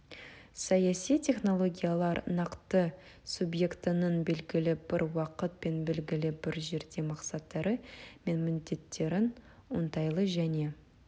саяси технологиялар нақты субъектінің белгілі бір уақыт пен белгілі бір жерде мақсаттары мен міндеттерін оңтайлы және